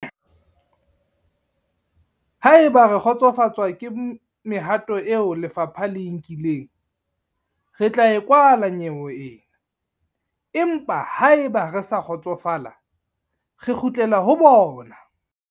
"Haeba re kgotsofatswa ke mehato eo lefapha le e nkileng, re tla e kwala nyewe ena, empa haeba re sa kgotsofala, re kgutlela ho bona."